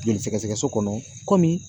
Joli sɛgɛsɛgɛ so kɔnɔ kɔmi